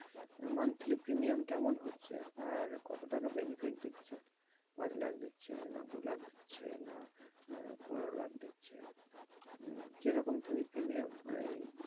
monthly premium কেমন হচ্ছে আর কতো টাকা benefit দিচ্ছে এক লাখ দিচ্ছে, দু লাখ দিচ্ছে না আহ পনেরো লাখ দিচ্ছে উম যেরকম তুমি premium এই,